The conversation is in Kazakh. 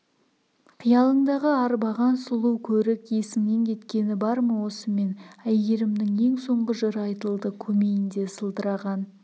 қиялыңды арбаған сұлу көрік есіңнен кеткені бар ма осымен әйгерімнің ең соңғы жыры айтылды көмейінде сылдыраған